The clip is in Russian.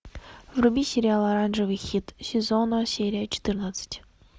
вруби сериал оранжевый хит сезона серия четырнадцать